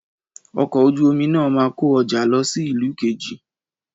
Ọkọ̀ ojú omi náà máa kó ọjà lọ sí ìlú kejì